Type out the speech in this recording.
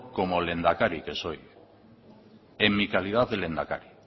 como lehendakari que soy en mi calidad de lehendakari